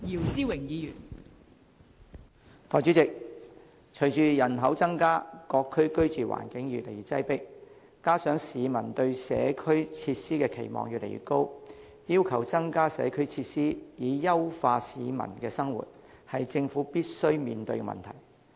代理主席，隨着人口增加，各區居住環境越來越擠迫，加上市民對社區設施的期望越來越高，要求增加社區設施以優化市民的生活，是政府必須面對的問題。